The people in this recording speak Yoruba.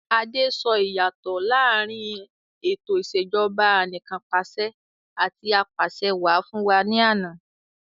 Adé sọ ìyàtọ̀ láàrín ètò ìsèjọba anìkanpàṣẹ àti apàṣẹwà fún wa ní àná.